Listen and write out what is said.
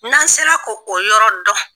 N' sera ko o yɔrɔ dɔn.